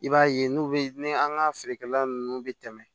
I b'a ye n'u bɛ ni an ka feerekɛla nunnu bɛ tɛmɛ